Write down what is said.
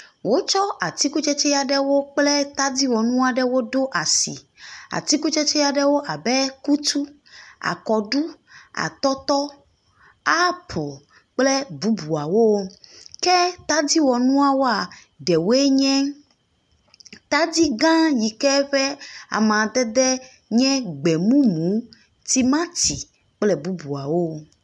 Wotsɔ atikutsetse aɖewo kple tadiwɔnu aɖewo ɖo asi, atiku tsetsewo aɖewo abe akutu, akɔɖu, atɔtɔ, apel kple bubuawo. Ke tadiwɔnuawoa, ɖewoe nye tadi gã yike ƒe amadede nye gbe mumu, timati kple bubuawo.